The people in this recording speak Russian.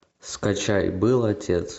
скачай был отец